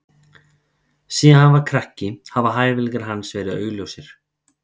Síðan hann var krakki hafa hæfileikar hans verið augljósir.